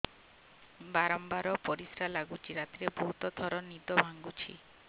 ବାରମ୍ବାର ପରିଶ୍ରା ଲାଗୁଚି ରାତିରେ ବହୁତ ଥର ନିଦ ଭାଙ୍ଗୁଛି